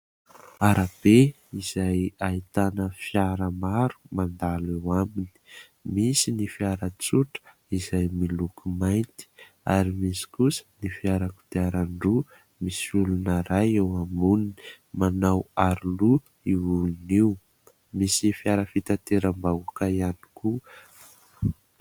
Arabe izay ahitana fiara maro mandalo eo aminy; misy ny fiara tsotra izay miloko mainty ary misy kosa ny fiara kodiaran-droa misy olona ray eo amboniny, manao aro loha io olon'io; misy fiara fitanteram-bahoaka ihany koa.